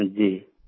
जी